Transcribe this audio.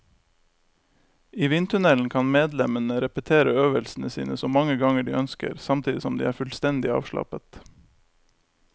I vindtunnelen kan medlemmene repetere øvelsene sine så mange ganger de ønsker, samtidig som de er fullstendig avslappet.